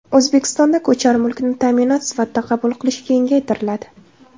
O‘zbekistonda ko‘char mulkni ta’minot sifatida qabul qilish kengaytiriladi.